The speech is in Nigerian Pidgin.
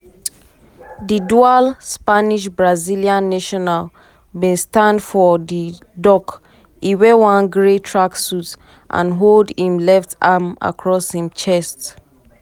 di dual spanish-brazilian national bin stand for di dock e wear one grey tracksuit and hold im left arm across im chest.